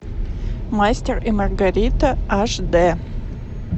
мастер и маргарита аш дэ